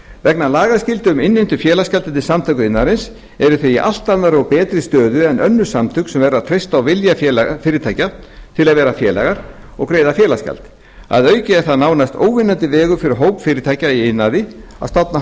vegna lagaskyldu um innheimtu félagsgjalda til samtaka iðnaðarins eru þau í allt annarri og betri stöðu en önnur samtök sem verða að treysta á vilja fyrirtækja til að vera félagar og greiða félagsgjald að auki er það nánast óvinnandi vegur fyrir hóp fyrirtækja í iðnaði að stofna